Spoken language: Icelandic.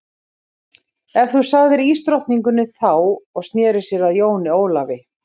En þú sagði ísdrottningin þá og sneri sér að Jóni Ólafi.